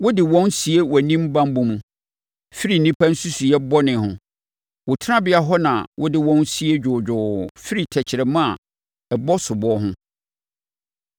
Wode wɔn sie wʼanim banbɔ mu firi nnipa nsusuiɛ bɔne ho; wo tenabea hɔ na wode wɔn sie dwoodwoo firi tɛkrɛma a ɛbɔ soboɔ ho.